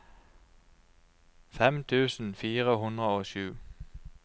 fem tusen fire hundre og sju